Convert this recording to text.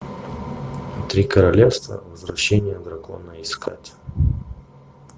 три королевства возвращение дракона искать